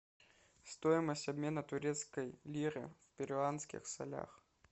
стоимость обмена турецкой лиры в перуанских солях